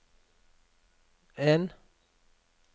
en